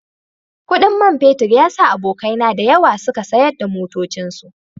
Kudin man fetur ya sa abokaina da yawa suka sayar da motocinsu